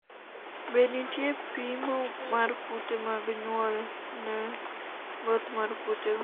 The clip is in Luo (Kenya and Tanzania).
be nitie pimo mar kute mag nyuol ne both mar kutego